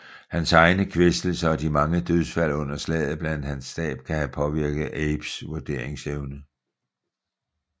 Hans egne kvæstelser og de mange dødsfald under slaget blandt hans stab kan have påvirket Abes vurderingsevne